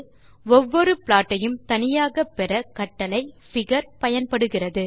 ஒவ்வொரு ப்ளாட் ஐயும் தனியாக பெற கட்டளை figure பயன்படுகிறது